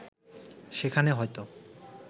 সেখানে হয়তো